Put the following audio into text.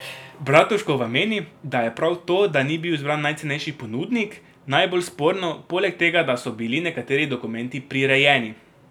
Bratuškova meni, da je prav to, da ni bil izbran najcenejši ponudnik, najbolj sporno, poleg tega da so bili nekateri dokumenti prirejeni.